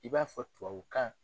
I b'a fɔ tubabukan